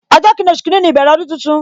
Ọjọ kini, oṣù kini ni ìbẹ̀rẹ̀ ọdún tuntun